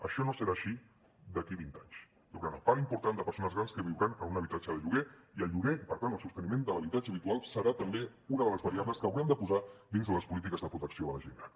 això no serà així d’aquí a vint anys hi haurà una part important de persones grans que viuran en un habitatge de lloguer i el lloguer i per tant el sosteniment de l’habitatge habitual serà també una de les variables que haurem de posar dins de les polítiques de protecció de la gent gran